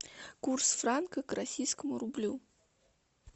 курс франка к российскому рублю